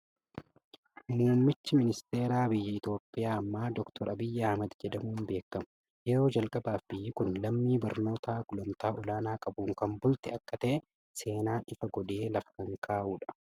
Muummichi ministeera biyya Itoophiyaa ammaa Dookter Abiyyi Ahmed jedhamuun beekamu. Yeroo jalqabaaf biyyi kun lammii barnoota gulantaa olaanaa qabuun kan bulte akka ta'e, seenaan ifa godhee lafa kan kaa'u dha.